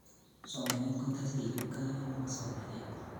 somanet kotesei kipkaa nepo somanet